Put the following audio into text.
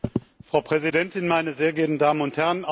Frau Präsidentin, meine sehr geehrten Damen und Herren!